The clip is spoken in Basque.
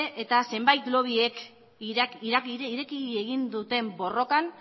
eta zenbait lobbiek ireki egin duten borrokan